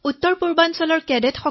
তেওঁলোকৰ সৈতে আমি দহ দিন কটাইছিলো